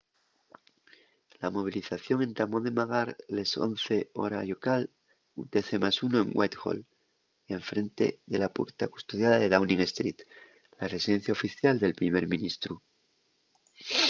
la movilización entamó de magar les 11:00 hora llocal utc+1 en whitehall en frente de la puerta custodiada de downing street la residencia oficial del primer ministru